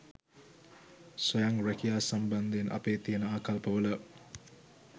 ස්වයං රැකියා සම්බන්ධයෙන් අපේ තියෙන ආකල්පවල